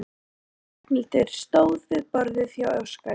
Ragnhildur stóð við borðið hjá Óskari.